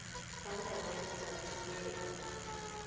ka lona letsatsi le o